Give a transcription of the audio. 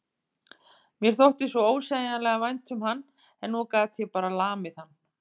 Mér þótti svo ósegjanlega vænt um hann en nú gat ég bara lamið hann.